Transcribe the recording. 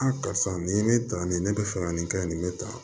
karisa nin ye ne ta nin ye ne bɛ fɛ ka nin kɛ nin bɛ tan